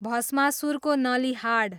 भष्मासुरको नलीहाड